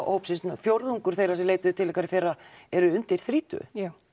hópsins fjórðungur þeirra sem leituðu til ykkar í fyrra eru undir þrítugu